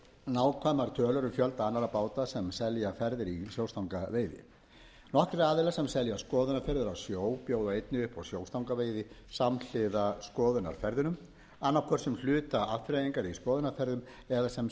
nákvæmar tölur um fjölda annarra báta sem selja ferðir í sjóstangaveiði nokkrir aðilar sem selja skoðunarferðir á sjó bjóða einnig upp á sjóstangaveiði samhliða skoðunarferðunum annað hvort sem hluta afþreyingar í skoðunarferðum eða sem